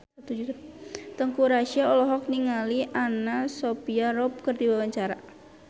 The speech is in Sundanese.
Teuku Rassya olohok ningali Anna Sophia Robb keur diwawancara